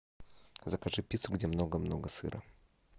закажи пиццу где много много сыра